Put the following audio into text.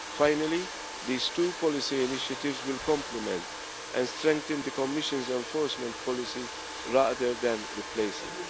Finally, these two policy initiatives will complement and strengthen the Commission's enforcement policy rather than replace